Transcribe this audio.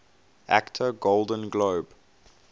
actor golden globe